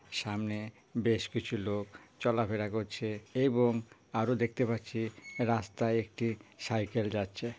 সামনে বেশ কিছু লোক চলাফেরা করছে এবং আরো দেখতে পাচ্ছি রাস্তায় একটি সাইকেল যাচ্ছে।